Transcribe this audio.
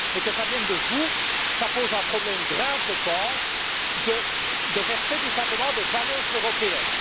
Mais que cela vienne de vous, ça pose un problème grave, je pense, de respect tout simplement des valeurs européennes!